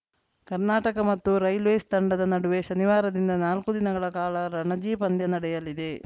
ಕರ್ನಾಟಕ ಮತ್ತು ರೈಲ್ವೇಸ್‌ ತಂಡದ ನಡುವೆ ಶನಿವಾರದಿಂದ ನಾಲ್ಕು ದಿನಗಳ ಕಾಲ ರಣಜಿ ಪಂದ್ಯ ನಡೆಯಲಿದೆ